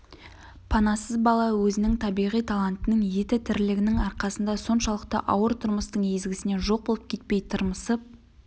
панасыз бала өзінің табиғи талантының еті тірілігінің арқасында соншалықты ауыр тұрмыстың езгісінен жоқ болып кетпей тырмысып